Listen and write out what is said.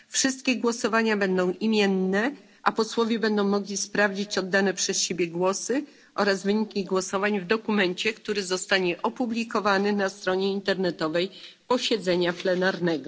Wszystkie głosowania będą imienne, a posłowie będą mogli sprawdzić oddane przez siebie głosy oraz wyniki głosowań w dokumencie, który zostanie opublikowany na stronie internetowej posiedzenia plenarnego.